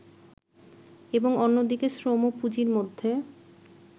এবং অন্যদিকে শ্রম ও পুঁজির মধ্যে